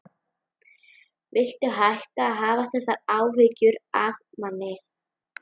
Viltu hætta að hafa þessar áhyggjur af manni!